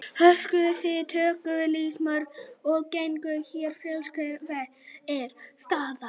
Höskuldur: Þið tókuð sýni í morgun og genguð hérna fjöruna, hver er staðan?